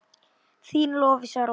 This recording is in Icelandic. Þín Lovísa Rós.